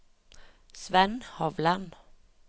Svend Hovland